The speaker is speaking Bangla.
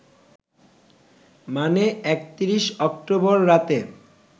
মানে ৩১ অক্টোবর রাতে